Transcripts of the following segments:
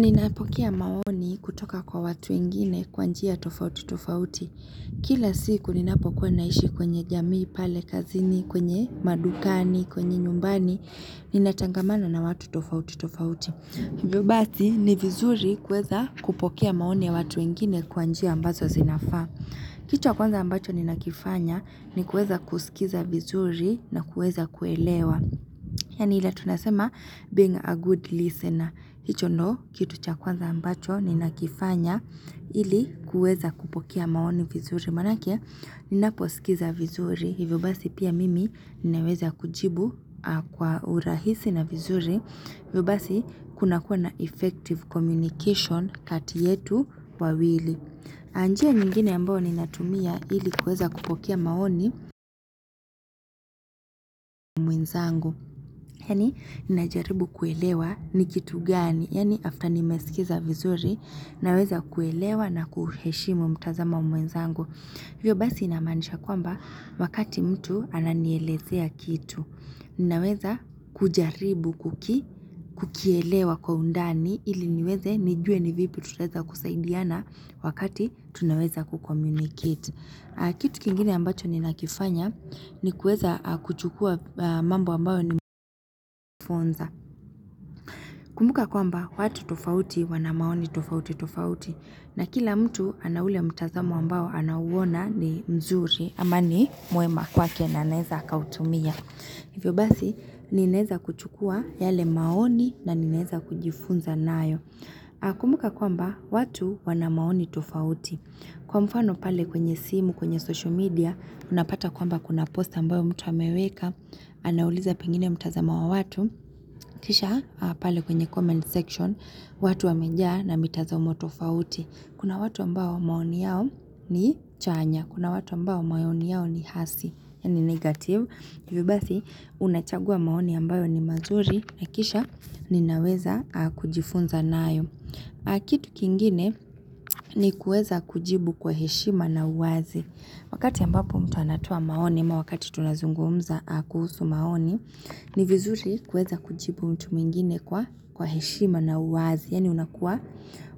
Ninapokea maoni kutoka kwa watu wengine kwa njia tofauti tofauti. Kila siku ninapokua naishi kwenye jamii pale kazini, kwenye madukani, kwenye nyumbani. Ninatangamana na watu tofauti tofauti. Hivyo basi ni vizuri kuweza kupokea maoni ya watu wengine kwa njia ambazo zinafaa. Kitu ya kwanza ambacho ninakifanya ni kuweza kusikiza vizuri na kuweza kuelewa. Yaani ile tunasema being a good listener. Hicho ndio kitu cha kwanza ambacho, ninakifanya ili kuweza kupokea maoni vizuri. Manake, ninaposikiza vizuri hivyo basi pia mimi ninaweza kujibu kwa urahisi na vizuri. Hivyo basi, kuna kuwa na effective communication kati yetu wawili. Na njia nyingine ambao ninatumia ili kuweza kupokea maoni mwenzangu. Yaani ninajaribu kuelewa ni kitu gani, yani after nimesikiza vizuri, naweza kuelewa na kuheshimu mtazamo wa mwenzangu. Hivyo basi inamaanisha kwamba, wakati mtu ananielezea kitu naweza kujaribu kuki, kukielewa kwa undani ili niweze nijue ni vipi tutaweza kusaidiana wakati tunaweza ku communicate. Kitu kingine ambacho ninakifanya ni kueza kuchukua mambo ambayo ni mfunza. Kumbuka kwamba watu tofauti wana maoni tofauti tofauti. Na kila mtu ana ule mtazamo ambao anauwona ni mzuri ama ni mwema kwake na aneza akautumia. Hivyo basi, ninaeza kuchukua yale maoni na ninaeza kujifunza nayo. Kumuka kwamba watu wanamaoni tofauti. Kwa mfano pale kwenye simu kwenye social media unapata kwamba kuna post ambayo mtu ameweka anauliza pengine mtazamo wa watu. Kisha pale kwenye comment section watu wamejaa na mitazamo tofauti. Kuna watu ambao maoni yao ni chanya, kuna watu ambayo maoni yao ni hasi yaani negative. Hivyo basi, unachagua maoni ambayo ni mazuri na kisha ninaweza kujifunza nayo. Na kitu kingine ni kuweza kujibu kwa heshima na uwazi. Wakati ambapo mtu anatoa maoni ama wakati tunazungumza kuhusu maoni, ni vizuri kuweza kujibu mtu mingine kwa heshima na uwazi. Yaani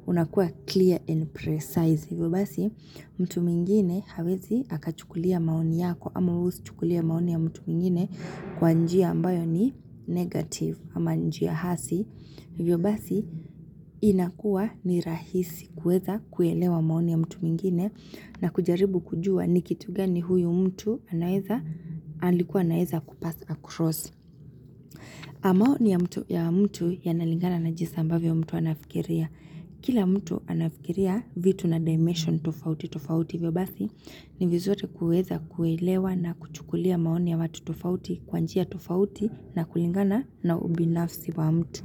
unakua clear and precise, hivyo basi mtu mingine hawezi akachukulia maoni yako, ama wewe usichukulie maoni ya mtu mwingine kwa njia ambayo ni negative. Ama njia hasi hivyo basi, inakua ni rahisi kuweza kuelewa maoni ya mtu mwingine na kujaribu kujua ni kitu gani huyu mtu anaweza, alikuwa anaweza kupass across. Maoni ya mtu ya mtu yanalingana na jinsi ambavyo mtu anafikiria. Kia mtu anafikiria vitu na dimension tofauti tofauti hivyo basi. Ni vizuri kuweza kuelewa na kuchukulia maoni ya watu tofauti kwa njia tofauti na kulingana na ubinafsi wa mtu.